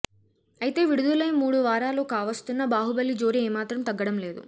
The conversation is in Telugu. అయితే విడుదలై మూడు వారాలు కావస్తున్నా బాహుబలి జోరు ఏమాత్రం తగ్గడం లేదు